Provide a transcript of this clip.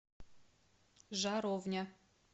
жаровня